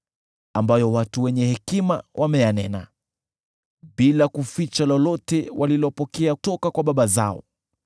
ambayo watu wenye hekima wameyanena, bila kuficha lolote walilopokea toka kwa baba zao